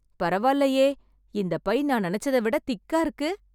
பரவாயில்லையே! இந்தப் பை நான் நெனச்சத விட திக்கா இருக்கு.